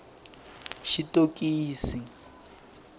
xitokisi